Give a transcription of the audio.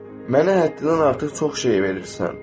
Mənə həddindən artıq çox şey verirsən.